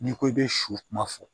N'i ko i bɛ su kuma fɔ